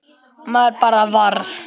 Maður bara varð